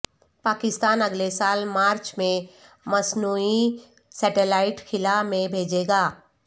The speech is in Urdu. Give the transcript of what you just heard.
پاکستان اگلے سال مارچ میں مصنوعی سیٹلائٹ خلا میں بھیجے گا